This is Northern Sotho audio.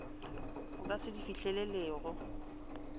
o ka se di fihlelelego